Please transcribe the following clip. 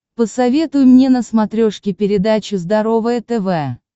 посоветуй мне на смотрешке передачу здоровое тв